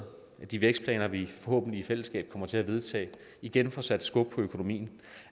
de vækstplaner vi forhåbentlig i fællesskab kommer til at vedtage igen får sat skub i økonomien